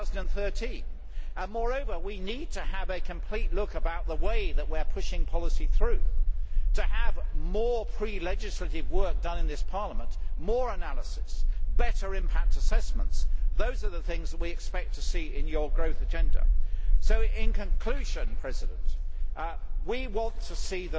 2013. Moreover we need to have a complete look at the way that we are pushing policy through, to have more pre legislative work done in this Parliament, more analysis, better impact assessments those are the things we expect to see in your growth agenda. In conclusion, the lead issue we want to